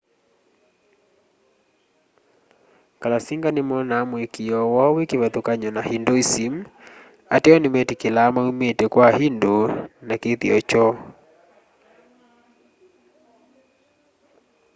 kalasinga monaa muikiio woo wi kivathukany'o na hinduism ateo nimetikilaa maumite kwa hindu na kithio kyoo